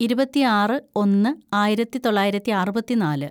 ഇരുപത്തിയാറ് ഒന്ന് ആയിരത്തിതൊള്ളായിരത്തി അറുപത്തിനാല്‌